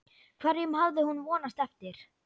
Hverjum hafði hún vonast eftir?